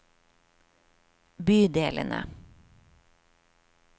bydelene